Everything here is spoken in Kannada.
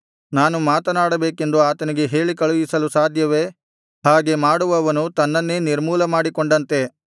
ನಾನು ಮಾತನಾಡಬೇಕೆಂದು ಆತನಿಗೆ ಹೇಳಿ ಕಳುಹಿಸಲು ಸಾಧ್ಯವೇ ಹಾಗೆ ಮಾಡುವವನು ತನ್ನನ್ನೇ ನಿರ್ಮೂಲ ಮಾಡಿಕೊಂಡಂತೆ